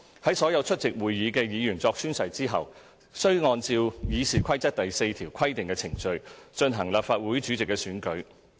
在所有出席會議的議員作宣誓後，須按照《議事規則》第4條規定的程序進行立法會主席的選舉。